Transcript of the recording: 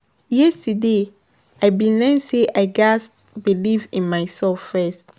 Yesterday, I been learn sey I gatz believe in myself first.